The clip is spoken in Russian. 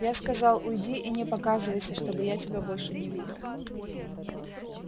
я сказал уйди и не показывайся чтобы я тебя больше не видел